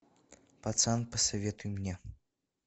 пацан посоветуй мне